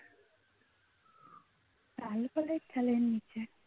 চালের নিচে